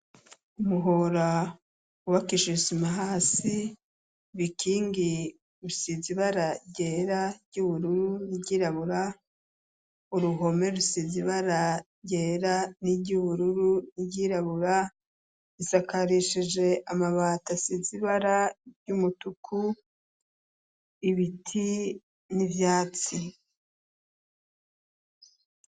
Umuhora bakishisima hasi bikingi rusizi bara gera ry'ubururu n'iyirabura uruhome rusizi bara gera n'iryubururu ny'irabura isakarishije amabata sizibara y'umutuku ibiti n'ibyatsi .